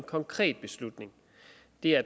så er